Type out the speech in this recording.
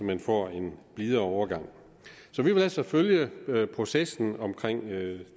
man får en blid overgang så vi vil altså følge processen med